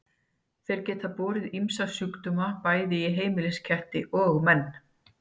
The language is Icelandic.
Þeir geta borið ýmsa sjúkdóma bæði í heimilisketti og menn.